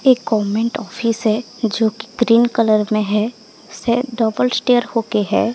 एक government office है जो की ग्रीन कलर में है से डबल स्टेयर होके है।